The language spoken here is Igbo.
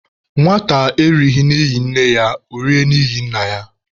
Nwata erighị n'ihi nne ya, ọ rie n'ihi nna ya.